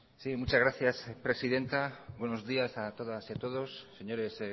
sí muchas gracias presidenta buenos días a todas y todos señores